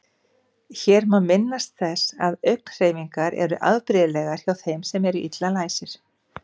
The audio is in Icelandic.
Hér má minnast þess að augnhreyfingar eru afbrigðilegar hjá þeim sem eru illa læsir.